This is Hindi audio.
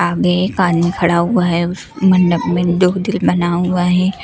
आगे खड़ा हुआ है उस मंडप में दो दिल बना हुआ है।